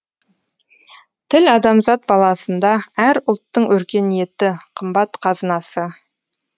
тіл адамзат баласында әр ұлттың өркениеті қымбат қазынасы